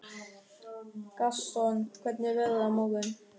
Gaston, hvernig er veðrið á morgun?